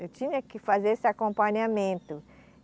Eu tinha que fazer esse acompanhamento.